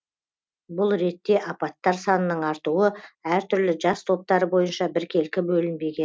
бұл ретте апаттар санының артуы әртүрлі жас топтары бойынша біркелкі